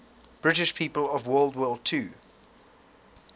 british people of world war ii